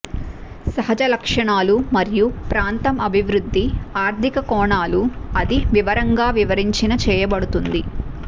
సహజ లక్షణాలు మరియు ప్రాంతం అభివృద్ధి ఆర్థిక కోణాలు అది వివరంగా వివరించిన చేయబడుతుంది